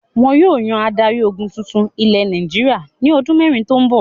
Wọn yóò yan adarí-ogun tuntun ilẹ̀ Nàìjíríà ní ọdún mẹ́rin tó ń bọ̀.